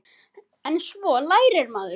En svo lærir maður.